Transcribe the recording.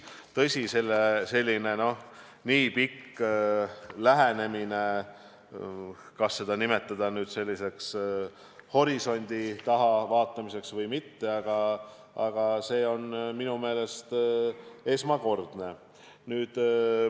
Tõsi, selline pikk lähenemine, ükskõik, kas seda saab nimetada nüüd horisondi taha vaatamiseks või mitte, on minu meelest esmakordne.